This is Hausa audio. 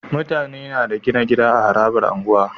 Mutane Bada gina gida a harabar unguwa